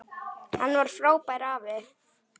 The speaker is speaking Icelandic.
Hann var frábær afi.